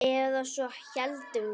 Eða svo héldum við.